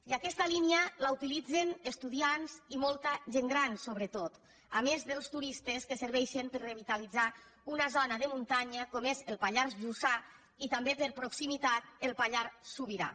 i aquesta línia la utilitzen estudiants i molta gent gran sobretot a més dels turistes que serveixen per a revitalitzar una zona de muntanya com és el pallars jussà i també per proximitat el pallars sobirà